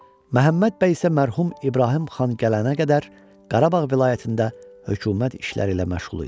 Məhəmməd bəy isə mərhum İbrahim Xan gələnə qədər Qarabağ vilayətində hökumət işləri ilə məşğul idi.